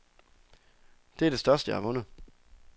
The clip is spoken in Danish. Det er det største, jeg har vundet.